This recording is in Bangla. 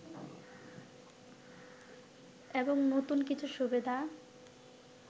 এবং নতুন কিছু সুবিধা